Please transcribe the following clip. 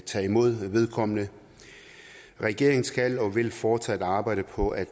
tage imod vedkommende regeringen skal og vil fortsat arbejde på at